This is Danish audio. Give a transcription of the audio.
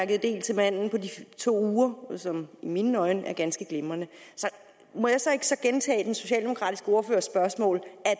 del til manden på to uger som i mine øjne er ganske glimrende må jeg så ikke gentage den socialdemokratiske ordførers spørgsmål